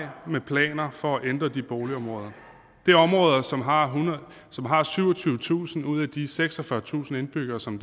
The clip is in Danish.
med planer for at ændre de boligområder det er områder som har som har syvogtyvetusind ud af de seksogfyrretusind indbyggere som